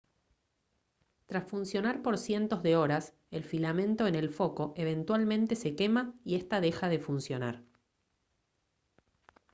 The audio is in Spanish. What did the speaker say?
tras funcionar por cientos de horas el filamento en el foco eventualmente se quema y esta deja de funcionar